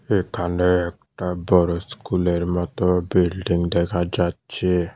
এখানে একটা বড়ো স্কুলের মত বিল্ডিং দেখা যাচ্ছে।